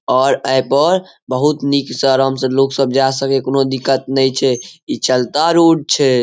और ए पर बहुत निक से आराम से लोग सब जाए सके छै कोनो दिक्कत नेए छै इ चलता रूट छै।